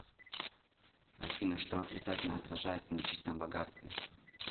афина что отрицательно отражается на чистом богатстве